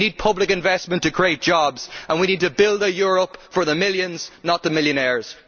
We need public investment to create jobs and we need to build a Europe for the millions, not the millionaires.